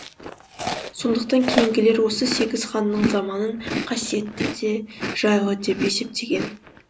сондықтан кейінгілер осы сегіз ханның заманын қасиетті де жайлы деп есептеген